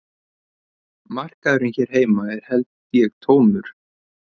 Markaðurinn hér heima er held ég tómur